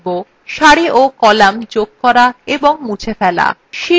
সারি ও কলাম যোগ করা এবং মুছে ফেলা